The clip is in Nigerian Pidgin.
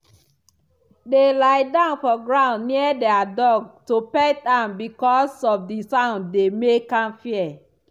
they lie down for ground near their dog to pet am because of the sound dey make am fear.